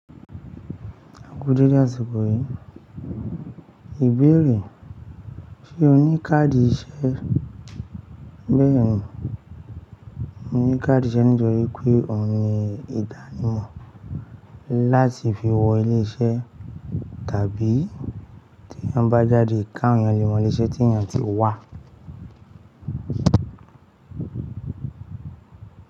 A kú dédé àsìkò yìí. Ìbéèrè, ṣé o ní káàdì iṣẹ́? Bẹ́ẹ̀ni, mo ní káàdì iṣẹ́ nítorí pé ohun ni ìdánimọ̀ láti fi wọ ilé iṣẹ́ tàbí tí eeyan bá jáde, ká awon eeyan lé mọ́ ilé iṣẹ́ tí èèyàn ti wà.